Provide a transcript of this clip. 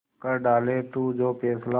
कर डाले तू जो फैसला